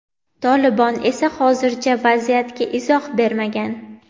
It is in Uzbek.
Tolibon esa hozircha vaziyatga izoh bermagan.